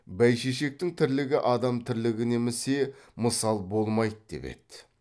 бәйшешектің тірлігі адам тірлігіне місе мысал болмайды деп еді